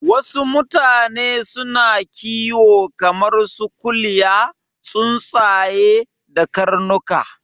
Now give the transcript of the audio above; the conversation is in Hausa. Wasu mutane suna kiwo kamar su kuliya, tsuntsaye da karnuka